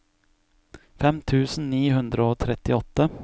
fem tusen ni hundre og trettiåtte